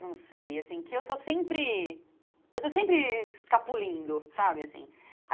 não sei, assim, que eu estou sempre, eu estou sempre escapulindo, sabe, assim.